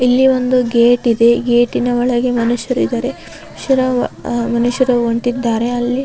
ಇಲ್ಲಿ ಒಂದು ಗೇಟ್ ಇದೆ ಗೇಟಿ ನ ಒಳಗೆ ಮನುಷ್ಯರಿದ್ದಾರೆ ಮನುಷ್ಯರು ಹೊರಟಿದ್ದಾರೆ.